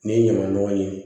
Ni ɲamaɲɔgɔn ye